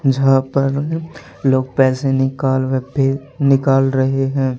जहां पर लोग पैसे निकाल निकाल रहे हैं।